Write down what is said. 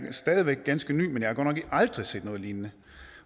er stadig væk ganske ny men jeg har godt nok aldrig set noget lignende